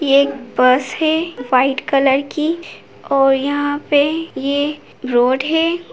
ये एक बस है व्हाइट कलर की और यहाँ पे ये रोड है ।